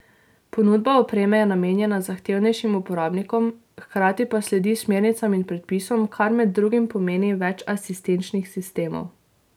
Ponudba opreme je namenjena zahtevnejšim uporabnikom, hkrati pa sledi smernicam in predpisom, kar med drugim pomeni več asistenčnih sistemov.